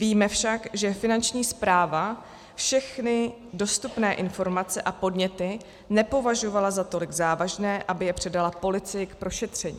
Víme však, že Finanční správa všechny dostupné informace a podněty nepovažovala za tolik závažné, aby je předala policii k prošetření.